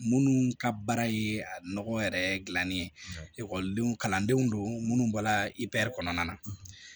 Minnu ka baara ye nɔgɔ yɛrɛ dilannen ye ekɔlidenw kalandenw don munnu bɔra ipɛr kɔnɔna na